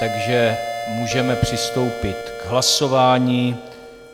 Takže můžeme přistoupit k hlasování.